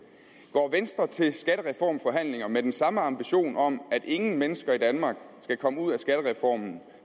går venstre til skattereformforhandlinger med den samme ambition om at ingen mennesker i danmark skal komme ud af skattereformen